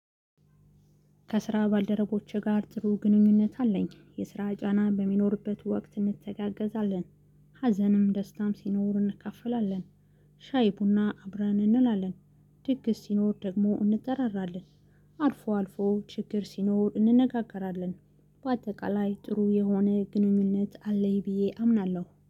ከስራ ባልደረቦቼ ጋር ጥሩ ግንኙነት አለኝ። የስራ ጫና በሚኖርበት ወቅት እንተጋገዛለን ሀዘንም ደስታም ሲኖር እንካፈላለን ሻይ ቡና አብረን እንላለን ድግስ ሲኖር ደሞ እንጠራራለን አልፎ አልፎ ችግር ሲኖር እንነጋገራለን። በአጠቃላይ ጥሩ የሆነ ግኑኝነት አለኝ ብዬ አምናለው